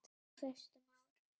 Á fyrstu árum